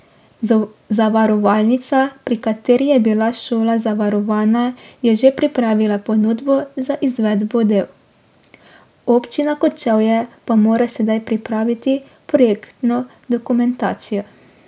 Zavarovalnica, pri kateri je bila šola zavarovana, je že pripravila ponudbo za izvedbo del, Občina Kočevje pa mora sedaj pripraviti projektno dokumentacijo.